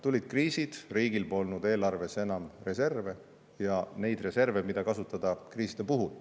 Tulid kriisid, riigil polnud eelarves enam reserve, neid reserve, mida kasutada kriiside puhul.